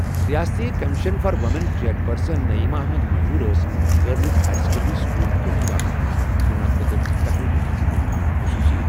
رِیٲستی commission for وُمینٕچ chairperson Naeema Ahmad Mehjoor ٲس گرلز ہایر سیکنڈری سکوٗل کوٹھی باغَس منٛز مُنعقد تقریٖبہِ منٛز مہمان خصوصی ۔